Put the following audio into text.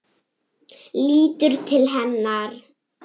Lítur til hennar.